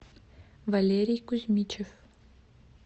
валерий кузьмичев